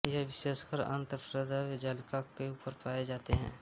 ये विशेषकर अंतर्प्रद्रव्य जालिका के ऊपर पाए जाते हैं